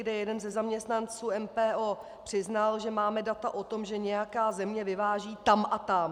, kdy jeden ze zaměstnanců MPO přiznal, že máme data o tom, že nějaká země vyváží tam a tam.